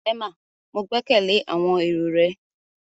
Emma, ​​Mo gbẹkẹle awọn ero rẹ